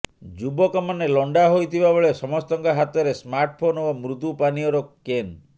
ଯୁବକମାନେ ଲଣ୍ଡା ହୋଇଥିବା ବେଳେ ସମସ୍ତଙ୍କ ହାତରେ ସ୍ମାର୍ଟଫୋନ୍ ଓ ମୃଦୁ ପାନୀୟର କେନ୍